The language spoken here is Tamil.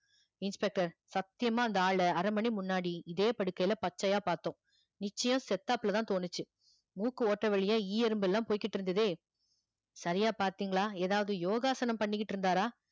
inspector சத்தியமா அந்த ஆளு அரை மணி முன்னாடி இதே படுக்கையில பச்சையா பார்த்தோம் நிச்சயம் செத்தாப்புல தான் தோணுச்சு மூக்கு ஓட்டை வழியா ஈ எறும்பு எல்லாம் போய்கிட்டு இருந்ததே சரியா பார்த்தீங்களா ஏதாவது யோகாசனம் பண்ணிக்கிட்டு இருந்தாரா